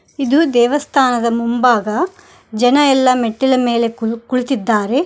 ಇದು ದೇವಸ್ಥಾನದ ಮುಂಭಾಗ ಜನ ಎಲ್ಲಾ ಮೆಟ್ಟಿಲ ಮೇಲೆ ಕುಳಿತ್ತಿದ್ದಾರೆ.